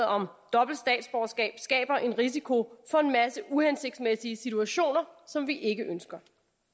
om dobbelt statsborgerskab skaber en risiko for en masse uhensigtsmæssige situationer som vi ikke ønsker